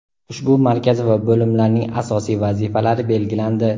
Ushbu markaz va bo‘limlarning asosiy vazifalari belgilandi.